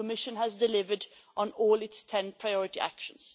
The Commission has delivered on all its ten priority actions.